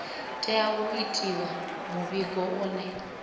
tea u itiwa muvhigo une